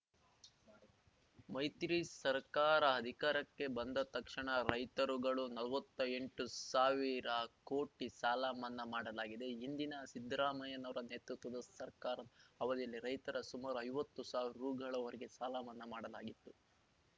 ಮೈತ್ರಿ ಸರ್ಕಾರ ಅಧಿಕಾರಕ್ಕೆ ಬಂದ ತಕ್ಷಣ ರೈತರುಗಳು ನಲ್ವತ್ತೆಂಟು ಸಾವಿರಕೋಟಿ ಸಾಲ ಮನ್ನಾ ಮಾಡಲಾಗಿದೆ ಹಿಂದಿನ ಸಿದ್ದರಾಮಯ್ಯನವರ ನೇತೃತ್ವದ ಸರ್ಕಾರದ ಅವಧಿಯಲ್ಲಿ ರೈತರ ಸುಮಾರು ಐವತ್ತು ಸಾವಿರ ರುಗಳವರೆಗೆ ಸಾಲ ಮನ್ನಾ ಮಾಡಲಾಗಿತ್ತು